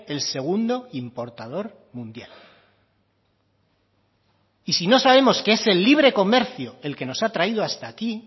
el segundo importador mundial y si no sabemos que es el libre comercio el que nos ha traído hasta aquí